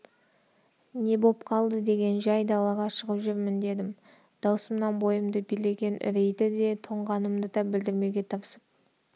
не боп қалды деген жай далаға шығып жүрмін дедім дауысымнан бойымды билеген үрейді де тоңғанымды да білдірмеуге тырысып